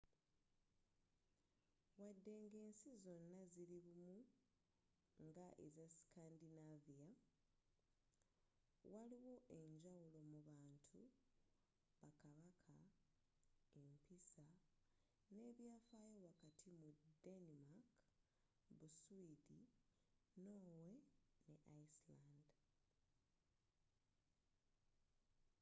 wadde nga ensi zino zili bumu nga eza scandinavia waliwo enjawulo mu bantu ba kabaka empisa n'ebyafayo wakati mu denimaka buswidi norway ne iceland